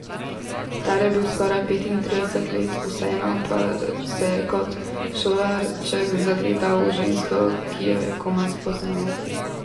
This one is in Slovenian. Star je bil skoraj petintrideset let, vseeno pa se je kot šolarček zagledal v žensko, ki jo je komaj spoznal.